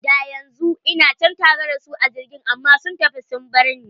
Da yanzu ina can tare da su a jirgin, amma sun tafi sun barni.